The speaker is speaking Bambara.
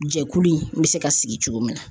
Jɛkulu in bɛ se ka sigi cogo min na.